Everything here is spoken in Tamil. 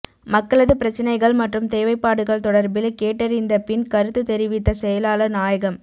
மக்களது பிரச்சினைகள் மற்றும் தேவைப்பாடுகள் தொடர்பில் கேட்டறிந்தபின் கருத்து தெரிவித்த செயலாளர் நாயகம்